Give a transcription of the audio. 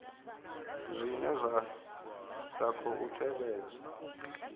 zwine zwa sa khou tevhedza